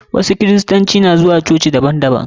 Wasu kirista na zuwa cococi daban daban.